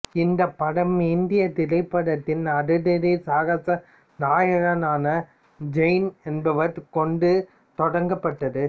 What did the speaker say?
இந்தப் படம் இந்தியத் திரைப்படத்தின் அதிரடி சாகச நாயகனான ஜெயன் என்பவரைக் கொண்டுத் தொடங்கப்பட்டது